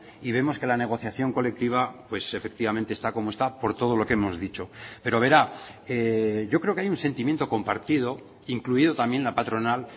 y vemos que la negociación colectiva pues efectivamente está como esta por todo lo que hemos dicho pero verá yo creo que hay un sentimiento compartido incluido también la patronal